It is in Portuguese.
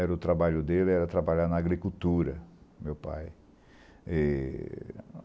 Era o trabalho dele, era trabalhar na agricultura, meu pai. E